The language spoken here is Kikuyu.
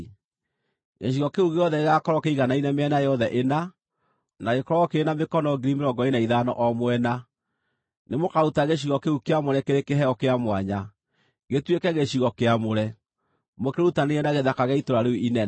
Gĩcigo kĩu gĩothe gĩgaakorwo kĩiganaine mĩena yothe ĩna, na gĩkorwo kĩrĩ na mĩkono 25,000 o mwena. Nĩmũkaruta gĩcigo kĩu kĩamũre kĩrĩ kĩheo kĩa mwanya, gĩtuĩke gĩcigo kĩamũre, mũkĩrutanĩrie na gĩthaka gĩa itũũra rĩu inene.